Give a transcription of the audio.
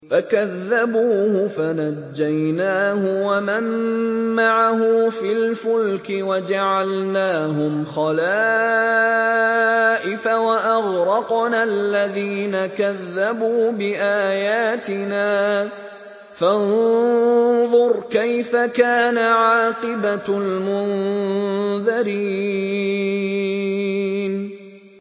فَكَذَّبُوهُ فَنَجَّيْنَاهُ وَمَن مَّعَهُ فِي الْفُلْكِ وَجَعَلْنَاهُمْ خَلَائِفَ وَأَغْرَقْنَا الَّذِينَ كَذَّبُوا بِآيَاتِنَا ۖ فَانظُرْ كَيْفَ كَانَ عَاقِبَةُ الْمُنذَرِينَ